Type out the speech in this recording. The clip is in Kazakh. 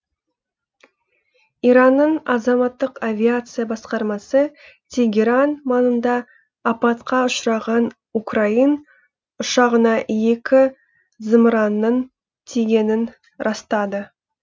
иранның азаматтық авиация басқармасы тегеран маңында апатқа ұшыраған украин ұшағына екі зымыранның тигенін растады